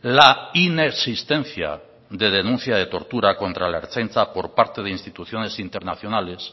la inexistencia de denuncia de tortura contra la ertzaintza por parte de instituciones internacionales